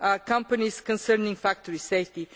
companies concerning factory safety.